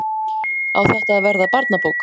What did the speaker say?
Á þetta að verða barnabók?